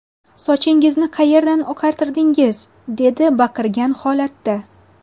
Sochingizni qayerdan oqartirdingiz?” dedi baqirgan holatda.